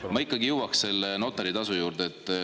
Aga ma ikkagi jõuaks selle notaritasu juurde.